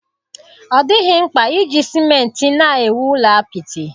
Ọ dịghị mkpa iji simenti na-ewu ụlọ apịtị.